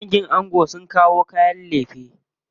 Dangin ango sun kawo kayan lefe.